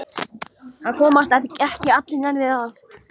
Það komast ekki nærri allir að.